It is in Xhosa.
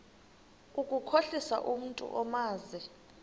ukukhohlisa umntu omazi